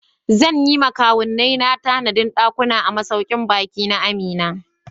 Zan yi wa kawunnina tanadin dakuna a masaukin baki na Amina.